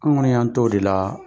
An kɔni y'an t'o de la,